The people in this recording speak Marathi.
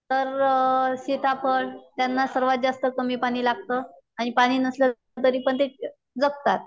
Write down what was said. तर सीताफळ त्यांना सर्वात जास्त कमी पाणी लागत आणि पाणी नसल तरी पण ते जगतात